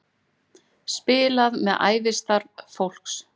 Spilað með ævistarf fólks